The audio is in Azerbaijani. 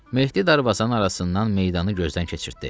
Mehdi darvazanın arasından meydanı gözdən keçirtdi.